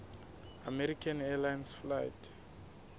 american airlines flight